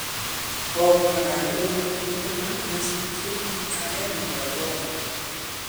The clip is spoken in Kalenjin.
Komwa kandoik kole ni ko ma nyasutiek age nebo Ebola